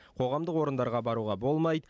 қоғамдық орындарға баруға болмайды